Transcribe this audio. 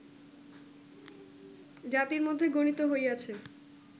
জাতির মধ্যে গণিত হইয়াছে